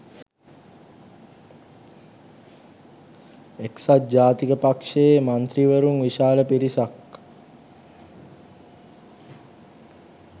එක්සත් ජාතික පක්ෂයේ මන්ත්‍රීවරුන් විශාල පිරිසක්